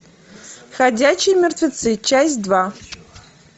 ходячие мертвецы часть два